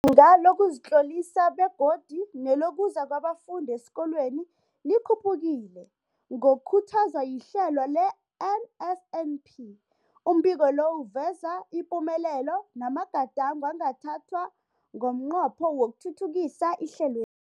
Izinga lokuzitlolisa begodu nelokuza kwabafundi esikolweni likhuphukile ngokukhuthazwa lihlelo le-NSNP. Umbiko lo uveza ipumelelo namagadango angathathwa ngomnqopho wokuthuthukisa ihlelwe